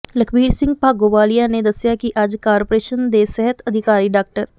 ਲਖਬੀਰ ਸਿੰਘ ਭਾਗੋਵਾਲੀਆ ਨੇ ਦੱਸਿਆ ਕਿ ਅੱਜ ਕਾਰਪੋਰੇਸ਼ਨ ਦੇ ਸਿਹਤ ਅਧਿਕਾਰੀ ਡਾ